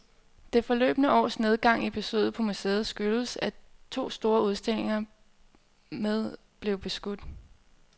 Det forløbne års nedgang i besøget på museet skyldes , at to store udstillinger med blev udskudt.